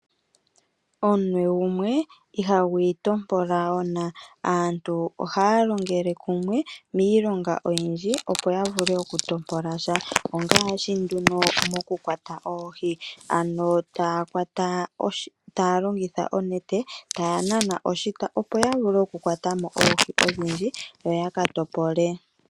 Omunwe gumwe ihagu intompola ona, aantu ohaa longele kumwe miilonga oyindji opo yavule okuntopolasha ngaashi mekwato lyoohi ano taalongitha onete taanana oshita opo yavule oku kwatamo oohi odhindji yo yakatopole.